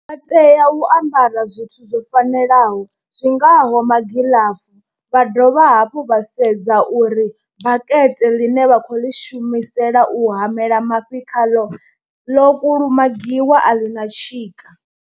Vha tea u ambara zwithu zwo fanelaho zwi ngaho magilafu, vha dovha hafhu vha sedza uri bakete ḽine vha khou ḽi shumisela u hamela mafhi khaḽo ḽo kulumagiwa a ḽi na tshika.